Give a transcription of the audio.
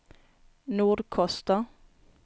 Nordkoster